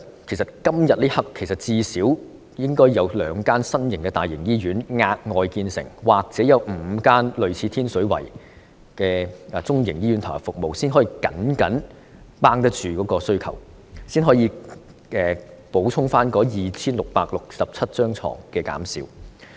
此刻，最少應該有兩間新的大型醫院額外建成，或有5間類似天水圍醫院的中型醫院投入服務，才能夠僅僅應付需求，補充減少的 2,667 張病床。